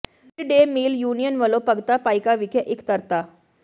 mid day meal union ਵੱਲੋਂ ਭਗਤਾ ਭਾਈਕਾ ਵਿਖੇ ਇਕੱਤਰਤਾ